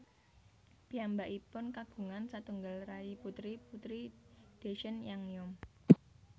Piyambakipun kagungan satunggal rayi putri Putri Dechen Yangzom